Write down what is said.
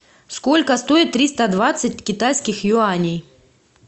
сколько стоит триста двадцать китайских юаней